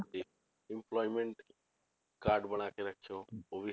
Employment card ਬਣਾ ਕੇ ਰੱਖਿਓ ਉਹ ਵੀ